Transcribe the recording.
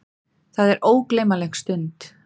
Það er ógleymanleg stund.